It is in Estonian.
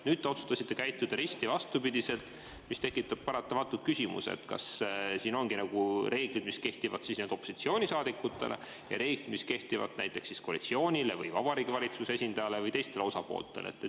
Nüüd te otsustasite käituda risti vastupidi, mis tekitab paratamatult küsimuse, kas siin on reeglid, mis kehtivad opositsioonisaadikutele, ja reeglid, mis kehtivad näiteks koalitsioonile, Vabariigi Valitsuse esindajale või teistele osapooltele.